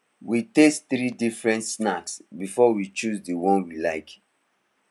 we taste three different snacks before we choose the one we like